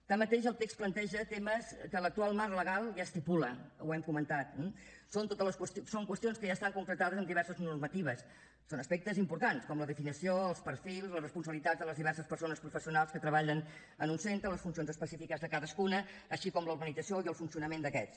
tanmateix el text planteja temes que l’actual marc legal ja estipula ho hem comentat eh són qüestions que ja estan concretades amb diverses normatives són aspectes importants com la definició els perfils les responsabilitats de les diverses persones professionals que treballen en un centre les funcions específiques de cadascuna així com l’organització i el funcionament d’aquests